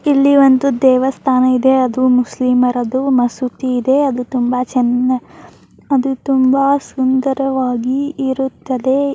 ಇಲ್ಲಿ ಒಂದು ದೇವಸ್ಥಾನ ಇದೆ ಅದು ಮುಸ್ಲಿಮರದು ಮಸೀದಿ ಇದೆ ಅದು ತುಂಬಾ ಚೆನ್ನ ಅದು ತುಂಬಾ ಸುಂದರವಾಗಿ ಇರುತ್ತದೆ.